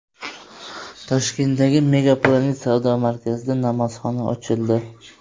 Toshkentdagi Mega Planet savdo markazida namozxona ochildi.